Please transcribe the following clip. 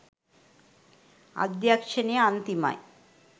අධ්‍යක්ෂණය අන්තිමයි